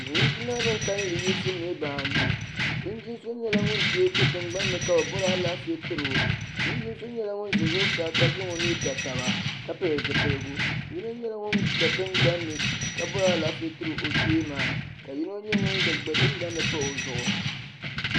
linjima bin kanli yiɣisi niraba anu linjin so nyɛla ŋun tiɛ do tingbanni ka bi bori Alaafee tiro linjin so nyɛla ŋun ʒɛ zuɣusaa ka zaŋ o nuu ga taba ka pili zipiligu yino nyɛla ŋun gba tingbanni kabori Alaafee tiri o kpee maa ka yino gba nyɛ ŋun gba tingbanni pahi o zuɣu